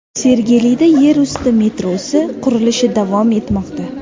Sergelida yer usti metrosi qurilishi davom etmoqda .